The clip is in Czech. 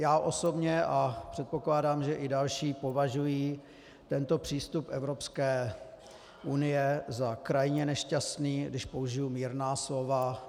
Já osobně a předpokládám, že i další, považuji tento přístup Evropské unie za krajně nešťastný, když použiji mírná slova.